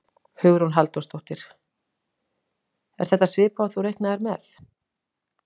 Hugrún Halldórsdóttir: Er þetta svipað og þú reiknaðir með?